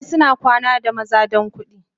Karuwai suna kwana da maza don kudi.